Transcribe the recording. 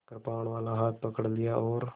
कृपाणवाला हाथ पकड़ लिया और